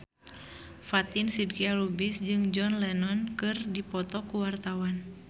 Fatin Shidqia Lubis jeung John Lennon keur dipoto ku wartawan